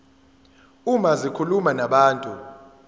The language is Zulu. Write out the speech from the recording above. uma zikhuluma nabantu